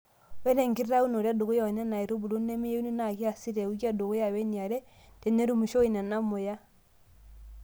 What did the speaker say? Ore enkitaunoto edukuya oo nena aitubulu nemeyieuni naa kiaasi te wiki edukuya weniare tenerumishoyu Nena ormuya.